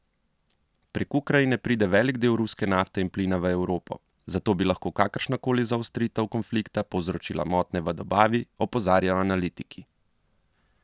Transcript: Prek Ukrajine pride velik del ruske nafte in plina v Evropo, zato bi lahko kakršnakoli zaostritev konflikta povzročila motnje v dobavi, opozarjajo analitiki.